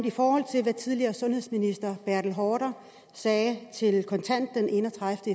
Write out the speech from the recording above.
i forhold til hvad tidligere sundhedsminister bertel haarder sagde til kontant den enogtredivete